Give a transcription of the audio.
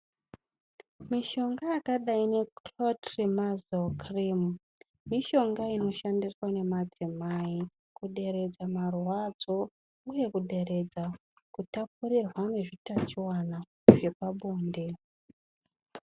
Mishonga yakadayi ngekhulotirimazo khirimu, mishonga inoshandiswa ngemadzimai kuderedza marwadzo uye kuderedza kutapurirwa ngeutachiwana hwepabonde